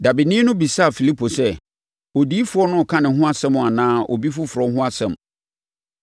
Dabeni no bisaa Filipo sɛ, “Odiyifoɔ no reka ne ho asɛm anaa obi foforɔ ho asɛm?”